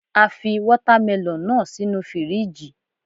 A fi Wọ́támẹlọ̀n náà sínu fíríjì.